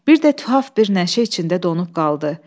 Bir də tuhaf bir nəşə içində donub qaldı.